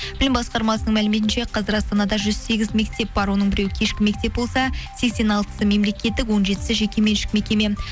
білім басқармасының мәліметінше қазір астанада жүз сегіз мектеп бар оның біреуі кешкі мектеп болса сексен алтысы мемлекеттік он жетісі жекеменшік мекеме